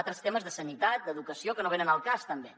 altres temes de sanitat d’educació que no venen al cas tampoc